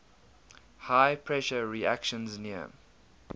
high pressure reactions near